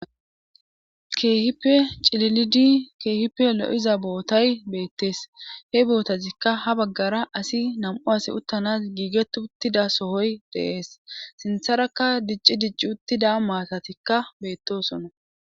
keehipe cililidi keehippe lo7iza bootay beettees he bootazikka ha baggara asi nam7u asi uttanas giiget uttida sohoy deees sintharakka dicci dicci uttida maatatikka beettosonna